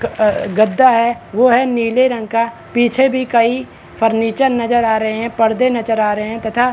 गद्दा है वो है नीले रंग का पीछे भी कई फर्नीचर नजर आ रहै है पर्दे नजर आ रहै है तथा--